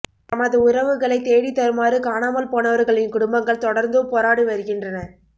தமது உறவுகளைத் தேடித் தருமாறு காணாமல்போனவர்களின் குடும்பங்கள் தொடர்ந்தும் போராடி வருகின்றன